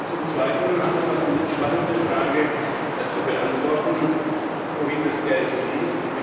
Zum Zweiten haben wir noch die spannende Frage zu beantworten, wohin das Geld fließt.